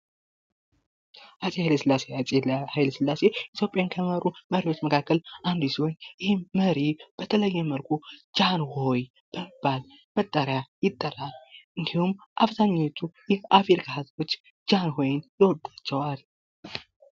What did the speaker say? አፄ ኃይለ ስላሴ ኢትዮጵያን ከመሩ መሪዎች መካከል አንዱ ሲሆን ይህም መሪ በተለይ መልኩ ጃንሆይ በመባል መጠሪያ ይጠራል እንዲሁም አብዛኛዎቹ የአፍሪካ ህዝቦች ጃንሆይን ይወዳቸዋል።